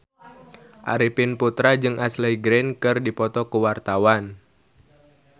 Arifin Putra jeung Ashley Greene keur dipoto ku wartawan